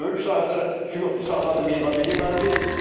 Örüş sahəsinə su yoxdur, saxladığım heyvan nə yeməlidir?